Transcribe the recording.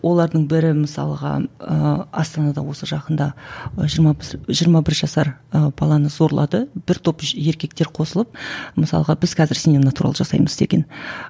олардың бірі мысалға ыыы астанада осы жақында жиырма жиырма бір жасар ы баланы зорлады бір топ еркектер қосылып мысалға біз қазір сенен натурал жасаймыз деген